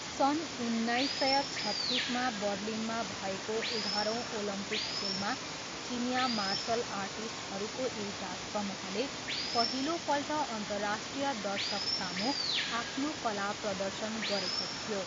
सन् उन्नाइस सय छत्तिसमा बर्लिनमा भएको एघारौँ ओलम्पिक खेलमा चिनियाँ मार्सल आर्टिस्टहरूको एउटा समूहले पहिलोपल्ट अन्तर्राष्ट्रिय दर्शकसामु आफ्नो कला प्रदर्शन गरेको थियो।